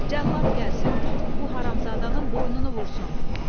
Cəllad gəlsin, bu haramzadanın boynunu vursun.